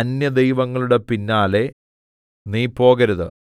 അന്യദൈവങ്ങളുടെ പിന്നാലെ നീ പോകരുത്